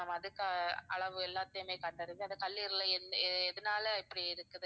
ma'am அதுக்கு அளவு எல்லாத்துலயுமே கண்டறிந்து அந்த கல்லீரல்ல எந்~ எதனால இப்படி இருக்குது